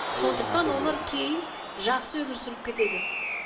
сондықтан олар кейін жақсы өмір сүріп кетеді